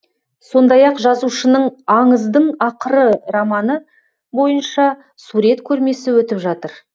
сондай ақ жазушының аңыздың ақыры романы бойынша сурет көрмесі өтіп жатыр